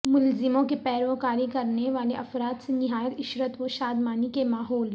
ملزموں کی پیروکاری کرنے والے افراد سے نہایت عشرت و شادمانی کے ماحول